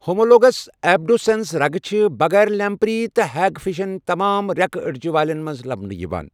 Homologous abducens رَگہٕ چھِ بغٲر لیمپری تہٕ ہیگ فشَن ، تمام ریكہٕ اڈِجہِ والین منٛز لَبنہٕ یِوان ۔